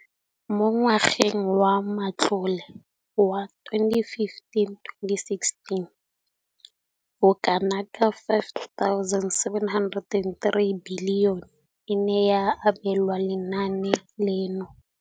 Mo ngwageng wa matlole wa 2015,16, bokanaka R5 703 bilione e ne ya abelwa lenaane leno.